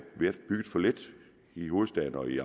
bygget for lidt i hovedstaden og i